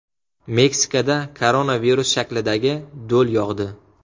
Meksikada koronavirus shaklidagi do‘l yog‘di .